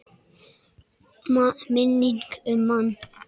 Minning um mann.